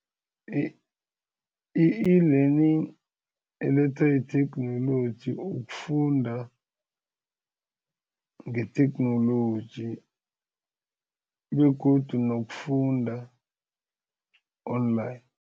I-e-learning elethwa yitheknoloji ukufunda ngetheknoloji begodu nokufunda online.